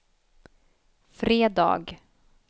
fredag